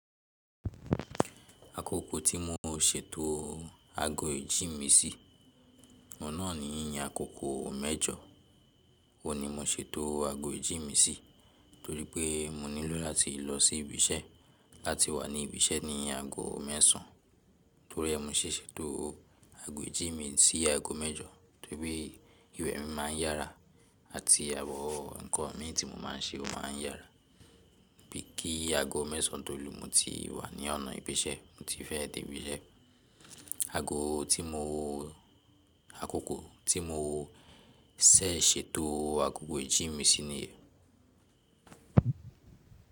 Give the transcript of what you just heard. Akoko tí mo ṣètò aago ìjí mi sí, ọ̀un naà ní àkókò mẹ́jọ. Óun ní mo ṣètò aago ìjí mi si torí pé mo nílò láti lọ sí ibi iṣẹ́ láti wà ní ibi iṣẹ́ ní aago mẹ́sàn án. Torí ẹ́, mo ṣẹ̀ ṣètò aago ìjí mi sí aago mẹ́jọ torí pé ìwẹ̀ mi má a ń yára àti àwọ̀ nǹkan mi tí mo má a ń ṣe ó má a ń yára bí i kí aago mẹ́sàn án tó lù, mo ti wà ní ọ̀nà ìbí ìṣẹ́, mo ti fẹ́ dé ibi iṣẹ́. Aago tí mo, àkókò tí mo tẹ̀ ṣètò àkókò ìjí mi sí niyen.